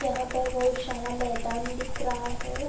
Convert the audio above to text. यहाँ पर बहुत शारा मैदान दिख रहा है।